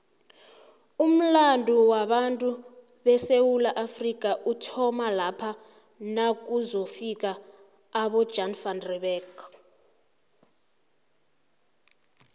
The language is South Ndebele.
umulando wabatu besewula afrika uthoma lapha nakuzofika abojan van reebeck